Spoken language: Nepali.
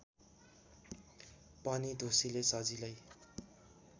पनि ढुसीले सजिलै